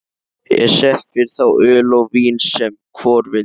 Er sett fyrir þá öl og vín sem hvor vildi.